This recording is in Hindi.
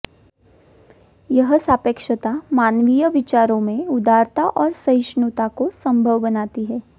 यह सापेक्षता मानवीय विचारों में उदारता और सहिष्णुता को संभव बनाती है